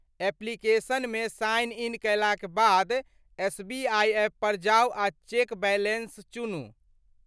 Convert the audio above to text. एप्लिकेशनमे sign in कयलाक बाद SBI app पर जाउ आ चेक बैलेंस चुनू।